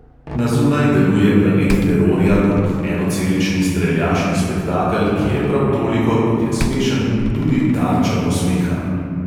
Na zunaj deluje planet terorja kot enocelični streljaški spektakel, ki je prav toliko, kot je smešen, tudi tarča posmeha.